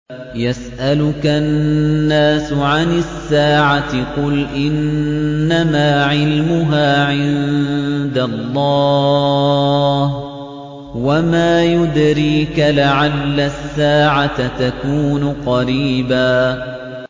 يَسْأَلُكَ النَّاسُ عَنِ السَّاعَةِ ۖ قُلْ إِنَّمَا عِلْمُهَا عِندَ اللَّهِ ۚ وَمَا يُدْرِيكَ لَعَلَّ السَّاعَةَ تَكُونُ قَرِيبًا